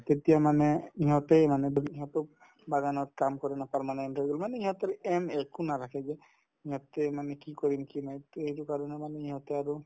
তেতিয়া মানে ইহঁতেই মানে ইহঁতে বাগানত কাম কৰে ন তাৰমানে মানে ইহঁতৰ aim একো নাথাকে যে মানে কি কৰিম কি নাই to এইটো কাৰণে মানে ইহঁতে আৰু